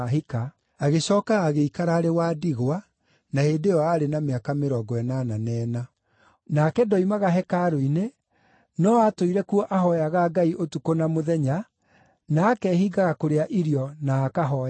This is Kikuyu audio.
agĩcooka agĩikara arĩ wa ndigwa na hĩndĩ ĩyo aarĩ na mĩaka mĩrongo ĩnana na ĩna. Nake ndoimaga hekarũ-inĩ, no aatũire kuo ahooyaga Ngai ũtukũ na mũthenya, na akehiingaga kũrĩa irio na akahooyaga.